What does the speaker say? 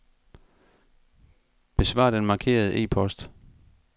Besvar den markerede e-post.